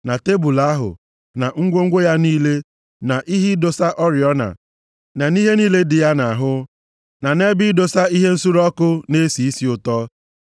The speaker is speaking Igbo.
na tebul ahụ, na ngwongwo ya niile, na nʼihe ịdọsa oriọna, na nʼihe niile dị ya nʼahụ, na nʼebe ịdọsa ihe nsure ọkụ na-esi isi ụtọ,